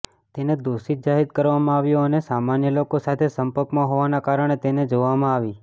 તેને દોષિત જાહેર કરવામાં આવ્યો અને સામાન્ય લોકો સાથે સંપર્કમાં હોવાના કારણે તેને જોવામાં આવી